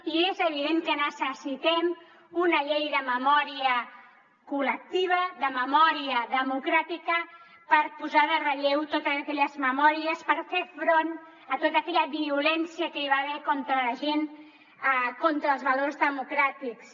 i és evident que necessitem una llei de memòria col·lectiva de memòria democràtica per posar en relleu totes aquelles memòries per fer front a tota aquella violència que hi va haver contra la gent contra els valors democràtics